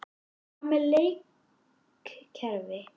Hvað með leikkerfi?